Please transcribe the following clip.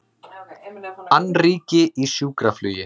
Annríki í sjúkraflugi